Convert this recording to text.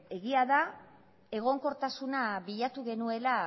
egia da egonkortasuna bilatu genuela